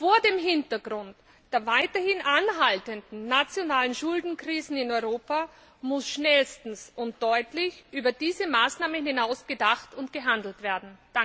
Vor dem Hintergrund der weiterhin anhaltenden nationalen Schuldenkrisen in Europa muss schnellstens und deutlich über diese Maßnahmen hinaus gedacht und gehandelt werden.